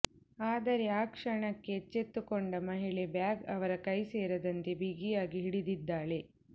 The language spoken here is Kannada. ಆದರೆ ಆಕ್ಷಣಕ್ಕೆ ಎಚ್ಚೆತ್ತುಕೊಂಡ ಮಹಿಳೆ ಬ್ಯಾಗ್ ಅವರ ಕೈ ಸೇರದಂತೆ ಬಿಗಿಯಾಗಿ ಹಿಡಿದಿದ್ದಾಳೆ